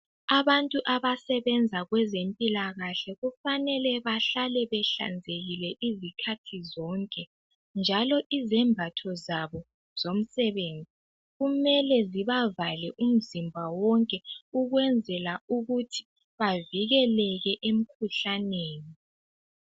Abantu abasebenza kwezempilakahle kufanele bahlale behlanzekile izikhathi zonke njalo izembatho zabo zomsebenzi kumele zibavale umzimba wonke ukwenzela ukuthi bavikeleke emkhuhlaneni.